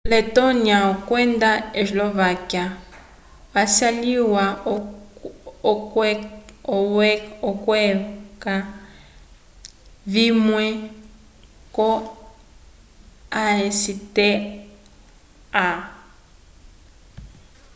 letonia kwenda eslovaquia wacilwa okweca vimwe ko acta